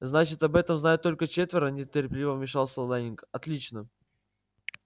значит об этом знают только четверо нетерпеливо вмешался лэннинг отлично